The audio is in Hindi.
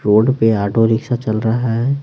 रोड पे ऑटो रिक्शा चल रहा है।